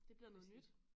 Det bliver noget nyt